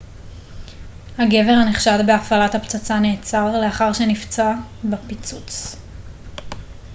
הגבר הנחשד בהפעלת הפצצה נעצר לאחר שנפצע בפיצוץ